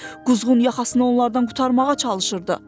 Quzğun yaxasını onlardan qurtarmağa çalışırdı.